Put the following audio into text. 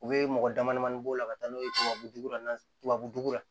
U bɛ mɔgɔ damadamanin bɔ o la ka taa n'o ye tubabu nɔgɔ tubabu dugu la